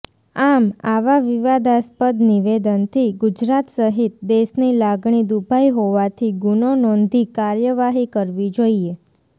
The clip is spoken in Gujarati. આમ આવા વિવાદાસ્પદ નિવેદનથી ગુજરાત સહિત દેશની લાગણી દુભાઈ હોવાથી ગુનો નોંધી કાર્યવાહી કરવી જોઈએ